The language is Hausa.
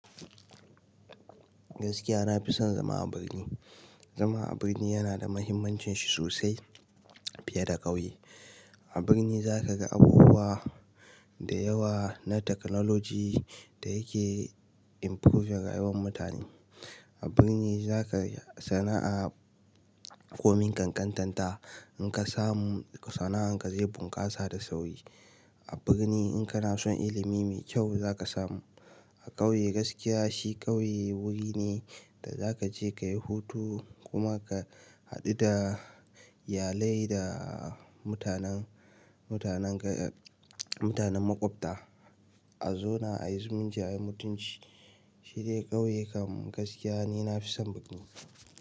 Gaskiya na fi son zama a birni. Zama a birni yana da muhimmancin shi sosai fiye da ƙauye. A birni za ka ga abubuwa da yawa na technology da yake improving rayuwan mutane. A birni za ka sana'a, komin kankantarta in ka samu sana'an ka zai bunƙasa da sauri. A birni in kana son ilimi mai kyau za ka samu. A ƙauye gaskiya shi ƙauye wuri ne da za ka je ka yi hutu kuma ka haɗu da iyalai da mutanen, mutanen ka, mutanen maƙwabta. A zauna ayi zumunci ayi mutunci, shi dai kauye kam gaskiya ni na fi son.